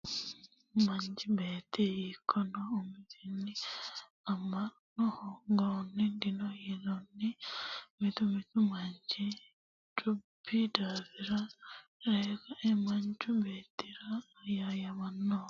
Manchi beetti hiikkuno umisi ama'no hooganohu dino kayinni mitu mitu manchi cubbi daafira ree kae manchu beettira ayayamanoha yesuusa agurte wole ayayamancho'yati yte amantano.